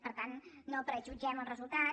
per tant no prejutgem els resultats